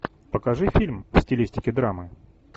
покажи фильм в стилистике драмы